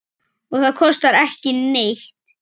Og það kostar ekki neitt.